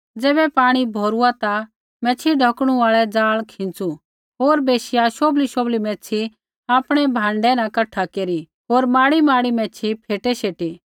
ज़ैबै पाणी भौरूआ ता मैच्छ़ी ढौकणु आल़ै ज़ाल खींच़ू होर बैशिया शोभलीशोभली मैच्छ़ी आपणै भाण्डै न कठा केरी होर माड़ीमाड़ी मैच्छ़ी फ़ेटै शेटी